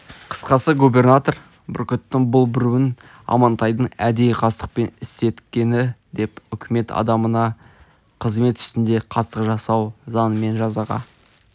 қысқасы губернатор бүркіттің бұл бүруін амантайдын әдейі қастықпен істеткені деп үкімет адамына қызмет үстінде қастық жасау заңымен жазаға